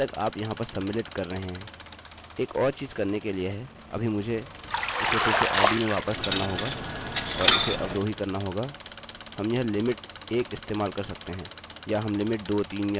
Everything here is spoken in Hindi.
एक और चीज़ करने के लिए है अभी मुझे इसे फिर से id में वापस करना होगा और इसे अवरोही करना होगा हम यह लिमिटlimit1 इस्तेमाल कर सकते हैं या हम लिमिटlimit 2 3 या 4 लिख सकते हैं